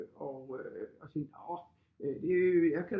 Og øh når det jeg kan